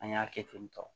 An y'a kɛ ten tɔ